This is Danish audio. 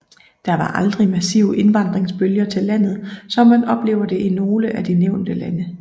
Der var aldrig massive indvandringsbølger til landet som man oplever det i nogle af de nævnte lande